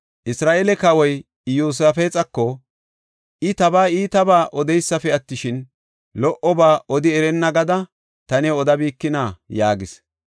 Isra7eele kawoy Iyosaafexako, “I tabaa iitabaa odeesipe attishin, lo77oba odi erenna gada, ta new odabikina?” yaagis.